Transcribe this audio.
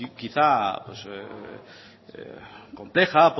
quizás compleja